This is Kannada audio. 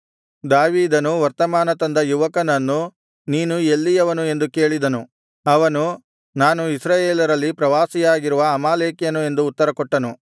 ದಾವೀದನು ವರ್ತಮಾನ ತಂದ ಯುವಕನನ್ನು ನೀನು ಎಲ್ಲಿಯವನು ಎಂದು ಕೇಳಿದನು ಅವನು ನಾನು ಇಸ್ರಾಯೇಲರಲ್ಲಿ ಪ್ರವಾಸಿಯಾಗಿರುವ ಅಮಾಲೇಕ್ಯನು ಎಂದು ಉತ್ತರಕೊಟ್ಟನು